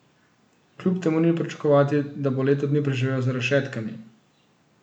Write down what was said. Kljub temu ni pričakovati, da bo leto dni preživel za rešetkami.